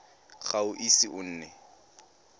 ga o ise o nne